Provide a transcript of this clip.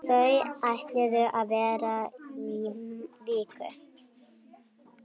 Þau ætluðu að vera í viku.